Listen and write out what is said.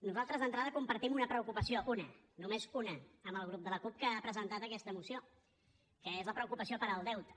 nosaltres d’entrada compartim una preocupació una només una amb el grup de la cup que ha presentat aquesta moció que és la preocupació pel deute